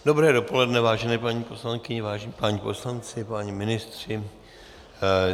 Dobré dopoledne, vážené paní poslankyně, vážení páni poslanci, páni ministři.